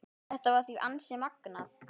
Þetta var því ansi magnað.